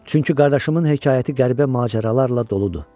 Çünki qardaşımın hekayəti qəribə macəralarla doludur.